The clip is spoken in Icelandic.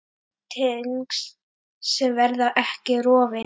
Tengsl sem verða ekki rofin.